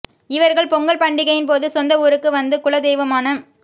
இவர்கள் பொங்கல் பண்டிகையின் போது சொந்த ஊருக்கு வந்து குல தெய்வமான